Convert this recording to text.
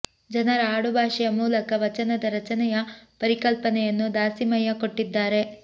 ಜನರ ಆಡು ಭಾಷೆಯ ಮೂಲಕ ವಚನದ ರಚನೆಯ ಪರಿಕಲ್ಪನೆಯನ್ನು ದಾಸಿಮಯ್ಯ ಕೊಟ್ಟಿದ್ದಾರೆ